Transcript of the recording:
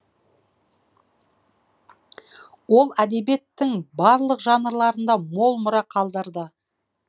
ол әдебиеттің барлық жанрларында мол мұра қалдырды